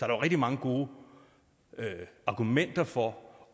er rigtig mange gode argumenter for